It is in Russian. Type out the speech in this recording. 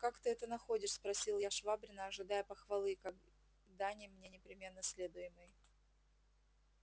как ты это находишь спросил я швабрина ожидая похвалы как дани мне непременно следуемой